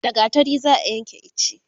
da gattari za'a Yanke iche